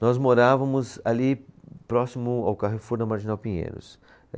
Nós morávamos ali próximo ao Carrefour da Marginal Pinheiros.